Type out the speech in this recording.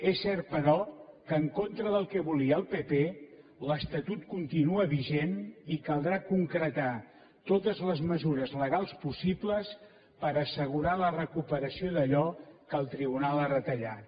és cert però que en contra del que volia el pp l’estatut continua vigent i caldrà concretar totes les mesures legals possibles per assegurar la recuperació d’allò que el tribunal ha retallat